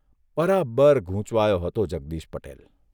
બરાબર ગૂંચવાયો હતો જગદીશ પટેલ !